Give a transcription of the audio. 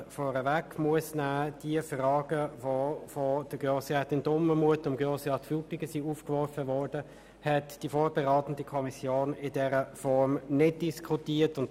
der BaK. Die von Frau Grossrätin Dumermuth und Herrn Grossrat Frutiger aufgeworfen Fragen konnten in der vorbereitenden Kommission nicht diskutiert werden.